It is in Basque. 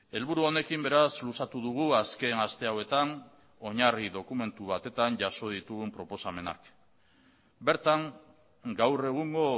helburu honekin beraz luzatu dugu azken aste hauetan oinarri dokumentu batetan jaso ditugun proposamenak bertan gaur egungo